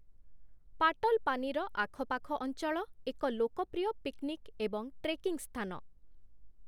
ପାଟଲପାନିର ଆଖପାଖ ଅଞ୍ଚଳ ଏକ ଲୋକପ୍ରିୟ ପିକନିକ୍ ଏବଂ ଟ୍ରେକିଂ ସ୍ଥାନ ।